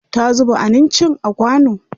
Ta zuba anincin a kwano.